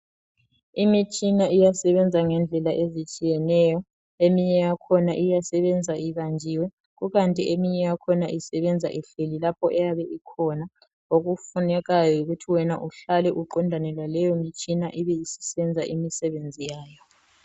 Imitshina iyasebenza ngendlela ezitshiyeneyo eminye yakhona iyasebenza ibanjiwe kukanti eminye yakhona isebenza ihleli lapho eyabe ikhona. Okufunekayo yikuthi wena uhlale uqondane laleyo mtshina ibisisenza imisebenzi yayo.